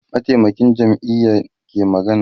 mataimakin shugaban jam'iya ke magana